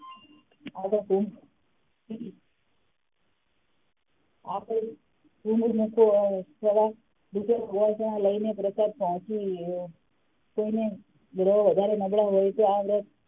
લઈને પ્રસાદ પહોચી અ કોઈને વધારે નબડા હોય તો આ વ્રત,